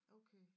Okay